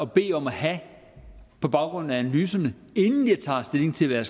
bede om at have på baggrund af analyserne inden jeg tager stilling til hvad